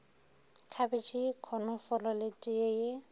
khabetšhe konofolo le teye ye